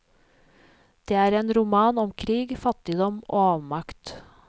Det er en roman om krig, fattigdom og avmakt.